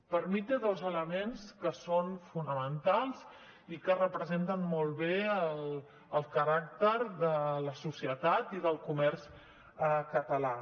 per mi té dos elements que són fonamentals i que representen molt bé el caràcter de la societat i del comerç català